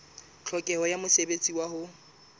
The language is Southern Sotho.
tlhokeho ya mosebetsi wa ho